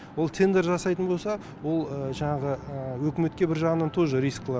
ол тендер жасайтын болса ол жаңағы үкіметке бір жағынан тоже рисклар